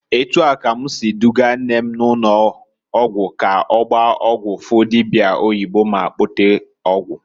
Etu a ka m si dugaa nne m ụnọgwụ ka ọgbaa ọgwụ, fụ dibia oyibo ma kpote ọgwụ.